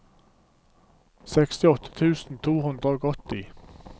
sekstiåtte tusen to hundre og åtti